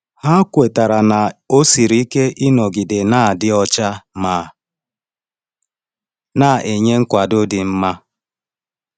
Ha kwetara na ọ siri ike ịnọgide na-adị ọcha ma na-enye nkwado dị mma.